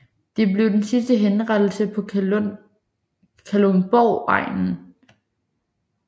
Det blev den sidste henrettelse på Kalundborgegnen